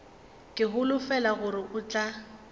ke holofela gore o tla